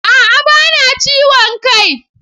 A'a! Ba na jin ciwon kai.